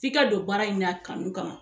F'i ka don baara in na kanu kama